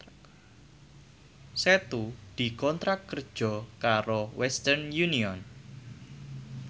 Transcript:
Setu dikontrak kerja karo Western Union